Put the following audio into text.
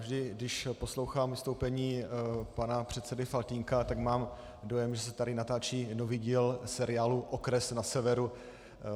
Vždy když poslouchám vystoupení pana předsedy Faltýnka, tak mám dojem, že se tady natáčí nový díl seriálu Okres na severu.